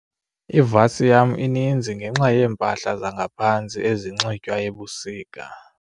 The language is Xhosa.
Ivasi yam ininzi ngenxa yeempahla zangaphantsi ezinxitywa ebusika.